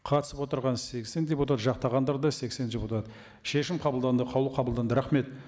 қатысып отырған сексен депутат жақтағандар да сексен депутат шешім қабылданды қаулы қабылданды рахмет